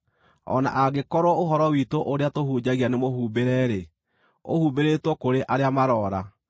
O na angĩkorwo ũhoro witũ ũrĩa tũhunjagia nĩmũhumbĩre-rĩ, ũhumbĩrĩtwo kũrĩ arĩa maroora.